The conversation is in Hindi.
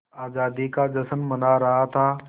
आज़ादी का जश्न मना रहा था